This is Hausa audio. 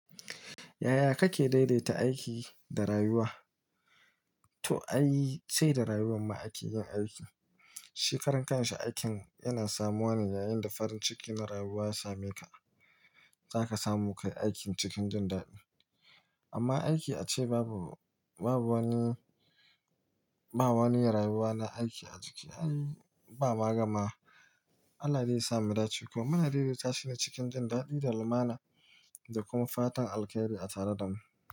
Yaya kake daidaita aiki da rayuwa? To ai, sai da rayuwan ma ake yin aiki. Shi karan kansa aikin yana samuwa ne yayin da farin ciki na rayuwa ya same ka. Zaka samu kai aikin cikin jin daɗi. Amma aiki ace babu wani wani rayuwa na aiki a ciki. Ai bama gamawa. Allah dai ya sa mu dace ko. Muna daidaita shi ne cikin jin daɗi da lumana da kuma fatan alkairi a tare da mu.